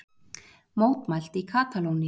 Mótmælt í Katalóníu